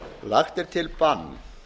lagt er til bann